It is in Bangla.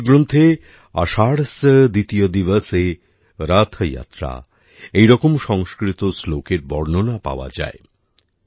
আমাদের গ্রন্থে আষাঢ়স্য দ্বিতীয় দিবসেরথ যাত্রা এইরকম সংস্কৃত শ্লোক এর বর্ণনা পাওয়া যায়